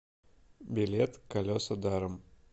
билет колеса даром